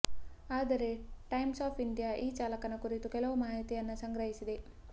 ಆದರೆ Times of India ಈ ಚಾಲಕನ ಕುರಿತು ಕೆಲವು ಮಾಹಿತಿಯನ್ನ ಸಂಗ್ರಹಿಸಿದೆ